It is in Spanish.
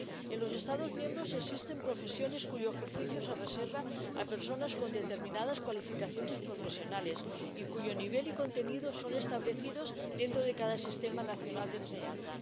En los Estados miembros existen profesiones cuyo ejercicio se reserva a personas con determinadas cualificaciones profesionales y cuyo nivel y contenido son establecidos dentro de cada sistema nacional de enseñanza.